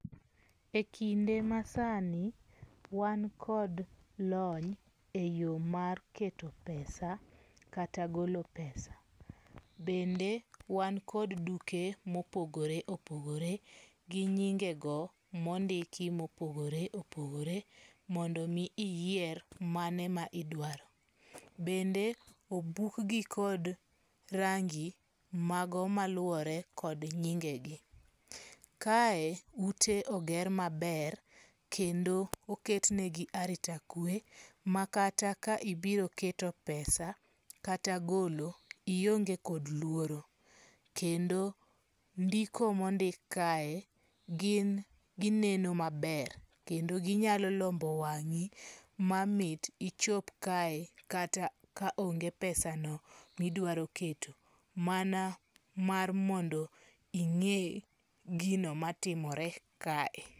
E kinde masani wan kod lony e yo mar keto pesa kata golo pesa. Bende wan kod duke mopogore opogore gi nyinge go mondiki mopogore opogore mondo mi iyier mane ma idwaro. Bende obuk gi kod rangi mago maluwore kod nyingegi. Kae ute oger maber kendo oketnegi arita kwe ma kata ka ibiro keto pesa kata golo ionge kod lworo. Kendo ndiko mondik kae gin gineno maber kendo ginyalo lombo wang'i ma mit ichop kae kata ka onge pesano midwaro keto. Mana mar mondo ing'e gino matimore ka e.